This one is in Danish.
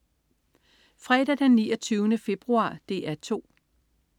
Fredag den 29. februar - DR 2: